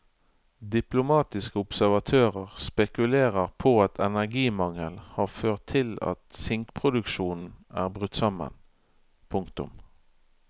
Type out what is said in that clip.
Diplomatiske observatører spekulerer på at energimangel har ført til at sinkproduksjonen er brutt sammen. punktum